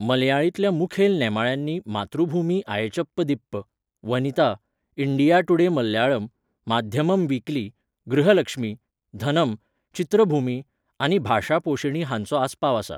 मल्याळींतल्या मुखेल नेमाळ्यांनी Mathrubhumi Azhchappathippu, Vanitha, India Today Malayalam, Madhyamam weekly, Grihalakshmi, Dhanam, Chithrabhumi आनी भाषापोषिणी हांचो आसपाव आसा